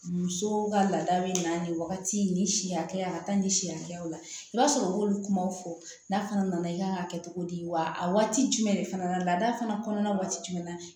Muso ka laada bɛ na nin wagati nin si hakɛya la ka taa ni si hakɛw la i b'a sɔrɔ u b'olu kumaw fɔ n'a fana nana i kan ka kɛ cogo di wa a waati jumɛn de fana laada fana kɔnɔna waati jumɛn na